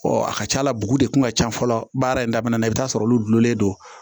a ka ca la dugu de kun ka ca fɔlɔ baara in daminɛ na i bɛ t'a sɔrɔ olu dulonlen don